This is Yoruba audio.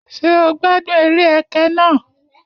Ṣé o gbádùn eré ẹkẹ náà?